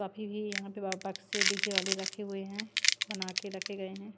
काफी भी यहां पे बक्स से डी_जे वाले रखे हुए हैं बना के रखे गए है ।